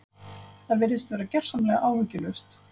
Það virðist vera gersamlega áhyggjulaust.